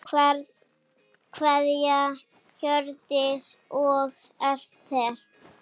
Kveðja, Hjörtur og Ester.